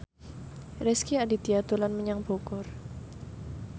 Rezky Aditya dolan menyang Bogor